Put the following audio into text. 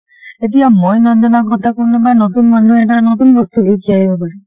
এতিয়া মই নাজানা কথা কোনোবা নতুন মানুহ এটাই নতুন বস্তু শিকি আহিব পাৰে।